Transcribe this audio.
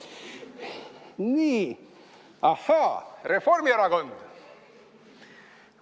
Nii, ahaa, Reformierakond.